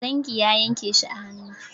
Zingi ya yanke shi a hannu.